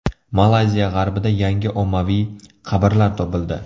Malayziya g‘arbida yangi ommaviy qabrlar topildi.